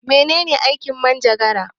Mene ne aikin manjagara?